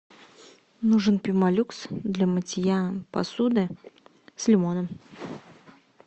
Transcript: нужен пемолюкс для мытья посуды с лимоном